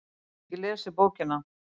ég hef ekki lesið bókina